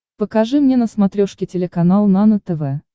покажи мне на смотрешке телеканал нано тв